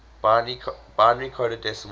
binary coded decimal